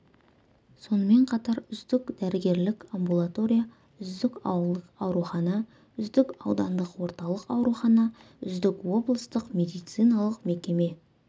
сонымен қатар үздік дәрігерлік амбулатория үздік ауылдық аурухана үздік аудандық орталық аурухана үздік облыстық медициналық мекеме